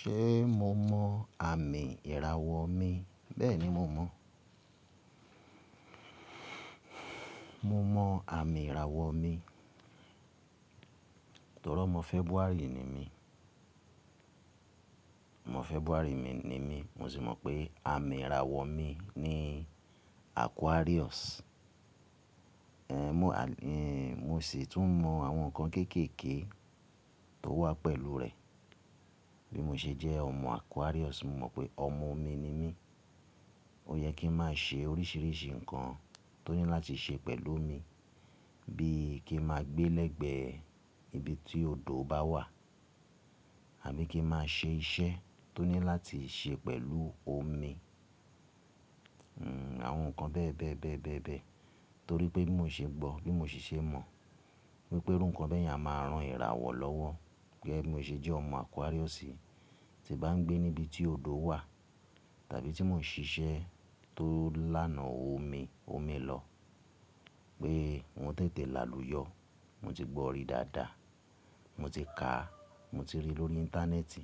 Ṣe mo mọ àmì ìràwọ̀ mi? Bẹ́ẹ̀ni mo mọ. Mo mọ àmì ìràwọ̀ mi. Torọ́ ọmọ February ni mí, ọmọ February ni mí, mo sì mọ pé àmì ìràwọ̀ mi ni Aquarius. Ehn mo sì tún mọ àwọn nǹkan kéékèèké tó wà pẹ̀lú rẹ. Bí mo ṣe jẹ́ ọmọ Aquarius, mo mọ̀ pé ọmọ omi ni mí. Ó yẹ kí n má ṣe oríṣìíríṣìí nǹkan tó ní láti ṣe pẹ̀lú omi bíi kí n má gbé lẹ́gbẹẹ ibi tí odò bá wà àbí kí n má ṣe iṣẹ́ tó ní láti ṣe pẹ̀lú omi. Hmm àwọn nǹkan bẹ́ẹ̀ bẹ́ẹ̀ bẹ́ẹ̀ bẹ́ẹ̀ bẹ́ẹ̀. Torí pé bí mo ṣe gbọ́, bí mo siṣe mọ̀ wípé irú nǹkan bẹ́ẹ̀ yẹn a máa ran ìràwọ̀ lọ́wọ́ gegé bí mo ṣe jẹ́ ọmọ Aquarius ti bá ń gbé níbi tí odò wà tàbí tí mò ń ṣe iṣẹ́ tó lánàá omi, omi lọ pé n òún tètè làlùyọ. Mo ti gbọ́ ori dáadáa, mo ti kàá, mo ti rí i lórí íńtánẹ́ẹ̀tì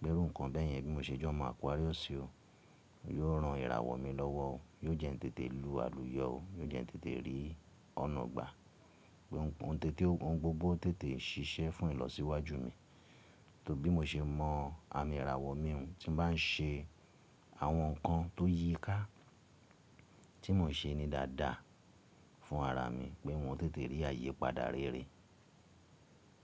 pé irú nǹkan bẹ́e yẹn bí mo ṣe jẹ́ ọmọ Aquarius o yóò ran ìràwọ̀ mi lọ́wọ́ o, yóò jẹ́ n tètè lu àlùyọ o, yóò jẹ́ n tètè rí ọ̀nà gba, pé ohun gbogbo tètè n ṣiṣẹ́ fún ìlọsíwájú mi. Torí bí mo ṣe mọ àmì ìràwọ̀ mi hun tí n bá ń ṣe àwọn nǹkan tó yíi ká tí mò ń ṣe ní dáadáa fún ara mi pé n òún tètè rí àyipadà rere.